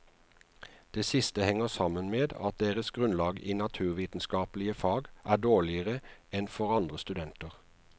Det siste henger sammen med at deres grunnlag i naturvitenskapelige fag er dårligere enn for andre studenter.